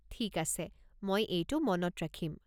ঠিক আছে। মই এইটো মনত ৰাখিম।